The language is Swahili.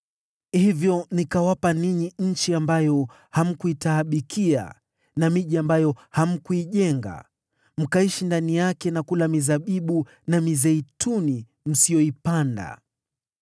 Hivyo nikawapa ninyi nchi ambayo hamkuitaabikia na miji ambayo hamkuijenga na mnaishi ndani yake na kula toka kwa mashamba ya mizabibu na mizeituni msiyoipanda.’